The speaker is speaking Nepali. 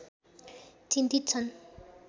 चिन्तित छन्